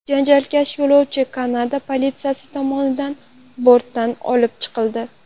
Janjalkash yo‘lovchi Kanada politsiyasi tomonidan bortdan olib chiqildi.